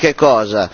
Di che cosa?